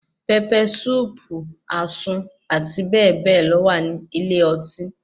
Pẹpẹ súùpù, àsun, àti bẹ́ẹ̀ bẹ́ẹ̀ lọ wà ní ilé ọtí.